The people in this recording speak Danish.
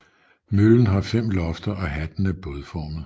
Møllen har fem lofter og hatten er bådformet